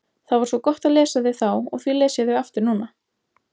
Það var svo gott að lesa þau þá og því les ég þau aftur núna.